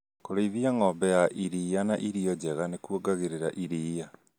Kũrĩithia ng'ombe ya irir irio njega nĩkuongagĩrĩra iria